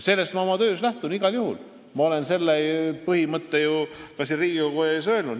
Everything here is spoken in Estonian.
Sellest ma oma töös igal juhul lähtun ja ma olen selle põhimõtte ka siin Riigikogu ees välja öelnud.